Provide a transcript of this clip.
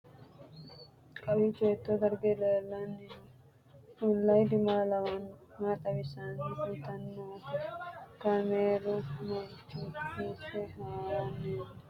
Kowiicho hiito dargi leellanni no ? ulayidi maa lawannoho ? maa xawisse kultanni noote ? kaameru manchi hiisse haarino misileeti?